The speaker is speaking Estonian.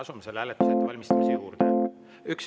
Asume selle hääletuse ettevalmistamise juurde.